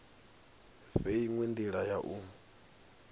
fhe inwe ndila ya u